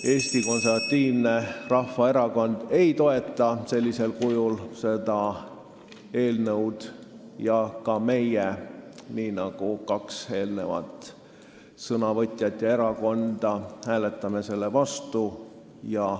Eesti Konservatiivne Rahvaerakond ei toeta seda eelnõu sellisel kujul ja ka meie, nii nagu kahe eelneva sõnavõtja erakonnad, hääletame selle vastu.